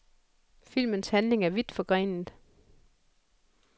Filmens handling er vidt forgrenet.